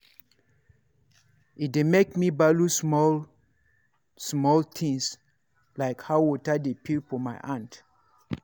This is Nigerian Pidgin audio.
e dey make me value small-small things — like how water dey feel for my hand.